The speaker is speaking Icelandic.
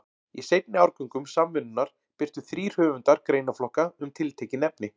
Í seinni árgöngum Samvinnunnar birtu þrír höfundar greinaflokka um tiltekin efni.